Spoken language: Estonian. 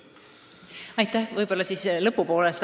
Aitäh!